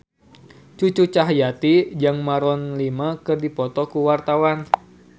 Cucu Cahyati jeung Maroon 5 keur dipoto ku wartawan